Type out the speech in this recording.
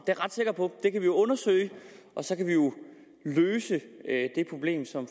jeg ret sikker på det kan vi undersøge og så kan vi jo løse det problem som